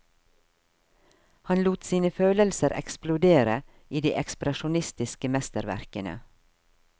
Han lot sine følelser eksplodere i de ekspresjonistiske mesterverkene.